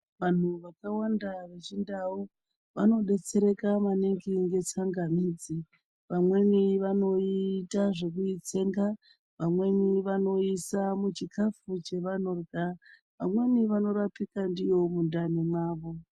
Vanhu vakawanda vechindau vanodetsereka maningi ngetsangamidzi pamwe vanoita zvekuitsenga, pamweni vanoisa muchikaru, pamweni vanorapika ndiyo mundani mwavo.